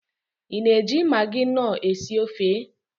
Ị na-eji magị nọọ esi ofe?